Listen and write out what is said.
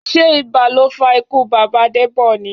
Sé ibà ló fa ikú bàbá Debọ ni?